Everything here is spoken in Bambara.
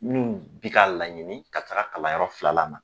Min bi k'a laɲini ka taa kalanyɔrɔ filanan na